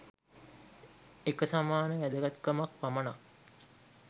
එක සමාන වැදගත්කමක් පමණක්